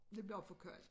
Det bliver for koldt